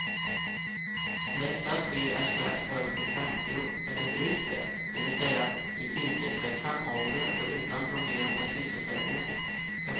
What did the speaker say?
Dessa tre är strax över de femtio eller drygt det, det vill säga i yrkesverksam ålder, och utan problem med sysselsättningen.